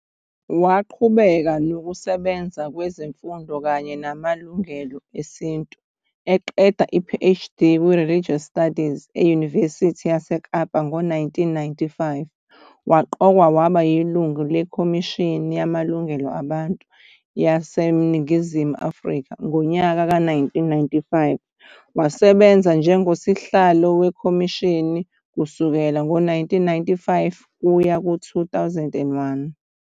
Waqhubeka nokusebenza kwezemfundo kanye namalungelo esintu, eqeda i-PhD kwi-Religious Studies eNyuvesi yaseKapa ngo-1995. Waqokwa waba yilungu leKhomishini Yamalungelo Abantu YaseNingizimu Afrika ngonyaka ka-1995, wasebenza njengosihlalo wekhomishini kusukela ngo-1995 kuya ku-2001.